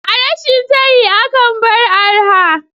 A rashin tayi akan bar arha